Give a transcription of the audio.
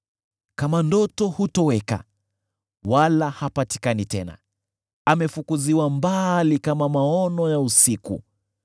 Kama ndoto hutoweka, wala hapatikani tena, amefukuziwa mbali kama maono ya usiku.